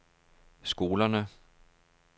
skolerne